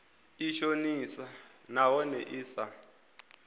i shonisaho nahone i sa